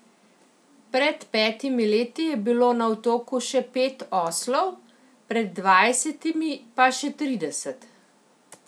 Pred petimi leti je bilo na otoku še pet oslov, pred dvajsetimi pa še trideset.